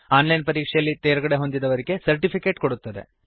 on line ಪರೀಕ್ಷೆಯಲ್ಲಿ ತೇರ್ಗಡೆಹೊಂದಿದವರಿಗೆ certificate ಕೊಡುತ್ತದೆ